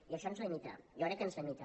i això ens limita jo crec que ens limita